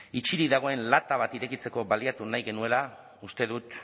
itxirik dagoen lata bat irekitzeko baliatu nahi genuela uste dut